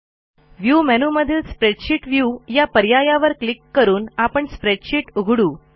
view मेनूमधील spreadsheet view या पर्यायावर क्लिक करून आपण स्प्रेडशीट उघडू